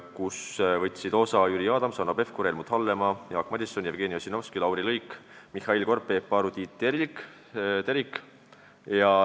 Istungist võtsid osa Jüri Adams, Hanno Pevkur, Helmut Hallemaa, Jaak Madison, Jevgeni Ossinovski, Lauri Luik, Mihhail Korb, Peep Aru ja Tiit Terik.